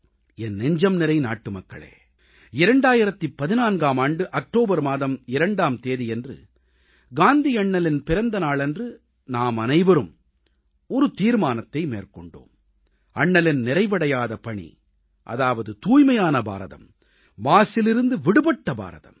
என் நெஞ்சம்நிறை நாட்டுமக்களே 2014ஆம் ஆண்டு அக்டோபர் மாதம் 2ஆம் தேதியன்று காந்தியண்ணலின் பிறந்தநாளன்று நாமனைவரும் ஒரு தீர்மானத்தை மேற்கொண்டோம் அண்ணலின் நிறைவடையாத பணி அதாவது தூய்மையான பாரதம் மாசிலிருந்து விடுபட்ட பாரதம்